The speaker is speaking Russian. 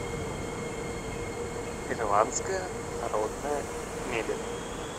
ирландская народная мебель